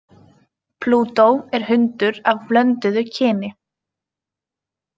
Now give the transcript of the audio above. Plútó er hundur af blönduðu kyni.